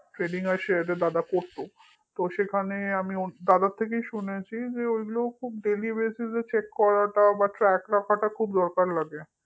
trading আর share এ দাদা করত তো সেখানে আমি দাদার থেকেই শুনেছি যে ওইগুলো খুব dailybasis এ track রাখা দরকার খুব দরকার লাগে